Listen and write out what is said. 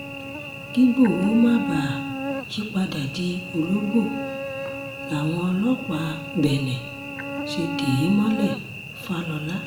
kígbohò má bàa yípadà di ológbò làwọn ọlọ́pàá benne ṣe dè é mọ́lẹ̀-fàlọ́la